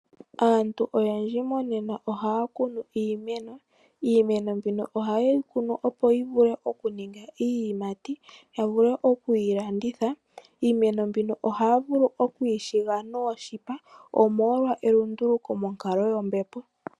Aantu oyendji monena ohaya kunu iimeno . Iimeno mbino ohayeyi kunu opo yivule okuninga iiyimati , yavule okuyi landitha. Iimeno mbino ohaya okuyi shiga nooshipa omolwa elunduluko monkalo yombepo.